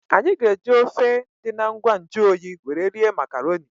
Anyị ga-eji ofe dị na ngwa nju oyi were rie makarọnị.